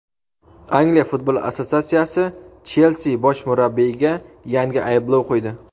Angliya futbol assotsiatsiyasi "Chelsi" bosh murabbiyiga yangi ayblov qo‘ydi;.